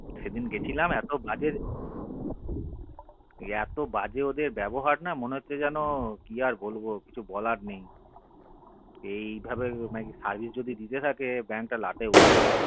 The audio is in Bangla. সেদিন গিয়েছিলাম এত বাজে এত বাজে ওদের ব্যবহার না মনে হচ্ছে যেন কি আর বলবো বলার নেই এই ভাবে যদি service দিতে থাকে ওদের bank লাটে উঠবে